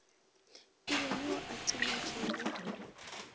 e be yo a tsenetšego